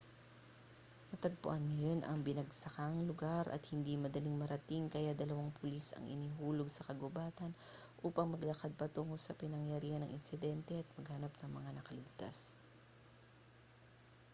natagpuan ngayon ang binagsakang lugar at hindi madaling marating kaya dalawang pulis ang inihulog sa kagubatan upang maglakad patungo sa pinangyarihan ng insidente at maghanap ng mga nakaligtas